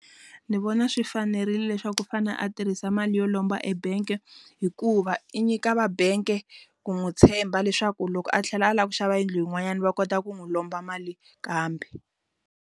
Ndzi vona swi fanerile leswaku u fane a tirhisa mali yo lomba ebank hikuva i nyika va bank ku n'wi tshemba leswaku loko a tlhela a lava ku xava yindlu yin'wanyana va kota ku n'wi lomba mali kambe.